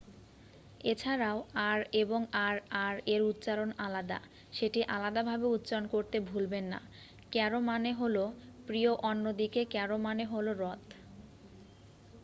এছাড়াও ,আর এবং আর আর এর উচ্চারণ আলাদা ,সেটি আলাদা ভাবে উচ্চারণ করতে ভুলবেন না :ক্যারো মানে হলো প্রিয় অন্য দিকে ক্যারো মানে হলো রথ।